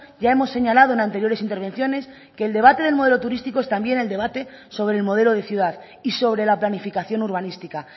ya hemos señalado en anteriores intervenciones que el debate del modelo turístico es también el debate sobre el modelo de ciudad y sobre la planificación urbanística